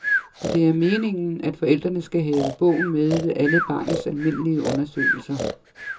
Og det er meningen, at forældrene skal have bogen med ved alle barnets almindelige undersøgelser.